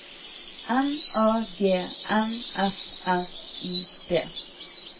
M A G N F R I D